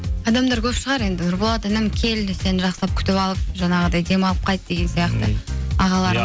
адамдар көп шығар енді нұрболат інім кел сені жақсылап күтіп алып жаңағыдай жақсылап демалып қайт деген сияқты